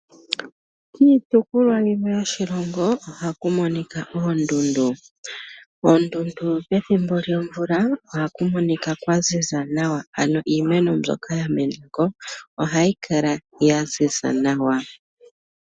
Iitopolwa yimwe yoshilongo ohaku monika oondundu . Oondundu pethimbo lyomvula ohaku monika kwaziza nawa ano iimeno mbyoka hayi monikako ohayi kala yaziza nawa.